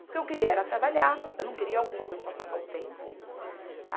Porque eu queria era trabalhar, eu não queria alguma coisa para passar o tempo.